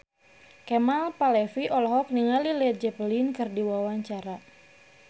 Kemal Palevi olohok ningali Led Zeppelin keur diwawancara